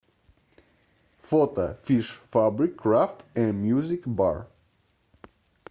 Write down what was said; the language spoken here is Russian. фото фиш фабрик крафт энд мьюзик бар